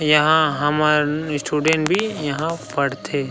इंहा हमर स्टूडेंट भी यहाँ पड़थे।